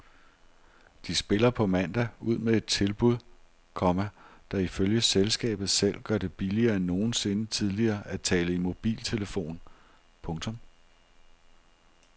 De spiller på mandag ud med et tilbud, komma der ifølge selskabet selv gør det billigere end nogensinde tidligere at tale i mobiltelefon. punktum